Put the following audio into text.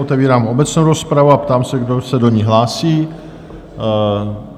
Otevírám obecnou rozpravu a ptám se, kdo se do ní hlásí?